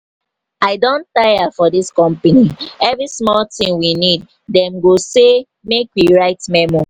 i don tire for dis company every small thing we need dem go say go say make we write memo